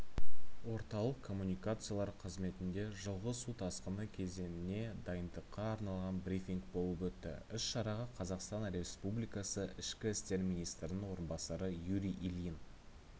орталық коммуникациялар қызметінде жылғы су тасқыны кезеңіне дайындыққа арналған брифинг болып өтті іс-шараға қазақстан республикасы ішкі істер министрінің орынбасары юрий ильин